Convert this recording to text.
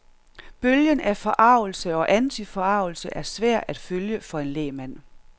Bølgen af forargelse og antiforargelse er svær at følge for en lægmand.